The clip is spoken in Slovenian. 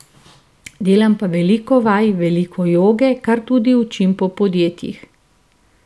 Delam pa veliko vaj, veliko joge, kar tudi učim po podjetjih.